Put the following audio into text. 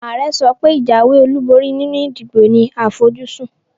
Àare sopé ìjáwé olúborí nínu ìdìbò ní àfojúsún